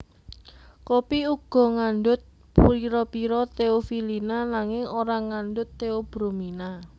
Kopi uga ngandut pira pira teofilina nanging ora ngandut teobromina